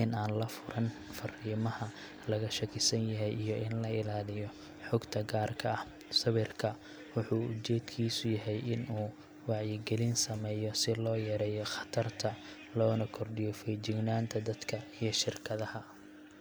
in aan la furan fariimaha laga shakisan yahay, iyo in la ilaaliyo xogta gaarka ah. Sawirka wuxuu ujeedkiisu yahay in uu wacyigelin sameeyo, si loo yareeyo khatarta, loona kordhiyo feejignaanta dadka iyo shirkadaha.